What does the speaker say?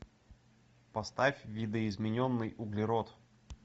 поставь видоизмененный углерод